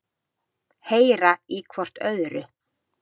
Heyra í hvort öðru.